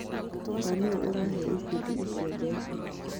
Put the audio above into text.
Na nũ ũrahe ikundi icio mbeca?